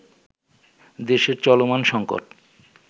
দেশের চলমান সঙ্কট